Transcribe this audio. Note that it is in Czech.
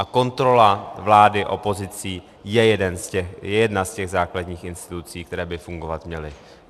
A kontrola vlády opozicí je jedna z těch základních institucí, které by fungovat měly.